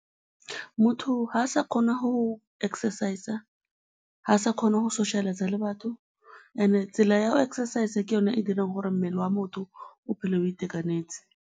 Motho ga a sa kgona go exercise-a, ga a sa kgona go socialise-a le batho, and-e tsela ya go exercise-a ke yone e e dirang gore mmele wa motho o tshele o itekanetse.